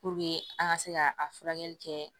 Puruke an ka se ka a furakɛli kɛ